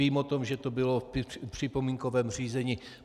Vím o tom, že to bylo v připomínkovém řízení.